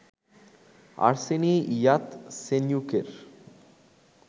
Arseniy ইয়াতসেনিয়ুকের